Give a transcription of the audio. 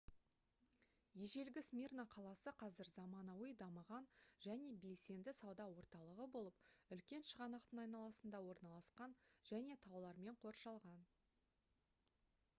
ежелгі смирна қаласы қазір заманауи дамыған және белсенді сауда орталығы болып үлкен шығанақтың айналасында орналасқан және таулармен қоршалған